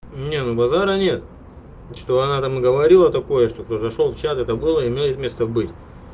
не ну базара нет ну что она там говорила такое что кто зашёл в чат это голый имеет место быть